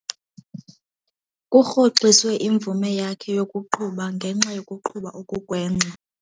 Kurhoxiswe imvume yakhe yokuqhuba ngenxa yokuqhuba okugwenxa.